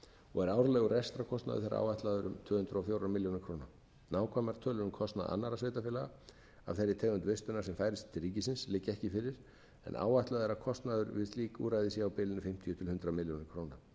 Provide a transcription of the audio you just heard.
og er árlegur rekstrarkostnaður þeirra áætlaður um tvö hundruð og fjórar milljónir króna nákvæmar tölur um kostnað annarra sveitarfélaga af þeirri tegund vistunar sem færist til ríkisins liggja ekki fyrir en áætlað er að kostnaður við slík úrræði sé á bilinu fimmtíu til hundrað milljónir króna